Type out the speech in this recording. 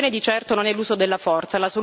La soluzione di certo non è l'uso della forza.